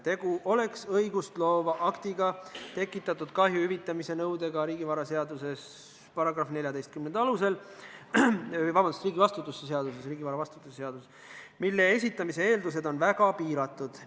Tegu oleks õigustloova aktiga tekitatud kahju hüvitamise nõudega riigivastutuse seaduse § 14 alusel, mille esitamise eeldused on väga piiratud.